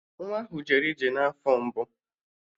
Nwa ahụ jere ije n'afọ mbụ